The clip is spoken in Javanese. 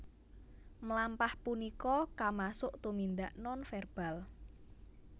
Mlampah punika kamasuk tumindak nonverbal